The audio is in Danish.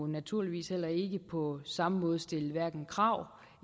naturligvis heller ikke på samme måde stille hverken krav